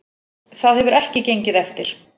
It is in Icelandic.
Það hefur ekki gengið eftir